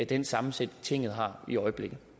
den sammensætning tinget har i øjeblikket